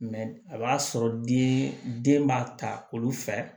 a b'a sɔrɔ den den b'a ta olu fɛ